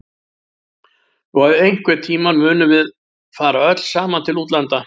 Og að einhvern tíma munum við fara öll saman til útlanda.